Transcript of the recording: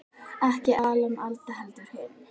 Ekki Alan Alda, heldur hinn